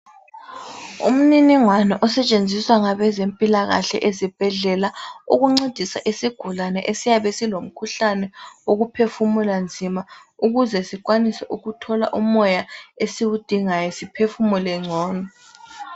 Umniningwano osetshenziswa ngabezempilakahle ezibhedlela, ukuncedisa isigulane esiyabe silomkhuhlane wokuphefumula nzima ukuze sithole umoya esiwudingayo . Ukuze siphefumule ngcono.